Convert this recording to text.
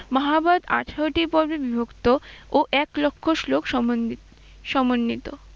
মহাভারত আঠারোটি পর্বে বিভক্ত ও এক লক্ষ শ্লোক সমন্বি~সমন্বিত।